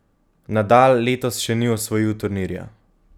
Nadal letos še ni osvojil turnirja.